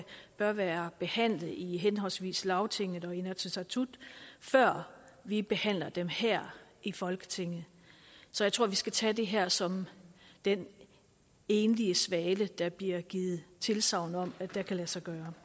bør være behandlet i henholdsvis lagtinget og inatsisartut før vi behandler dem her i folketinget så jeg tror at vi skal tage det her som den enlige svale der bliver givet tilsagn om kan lade sig gøre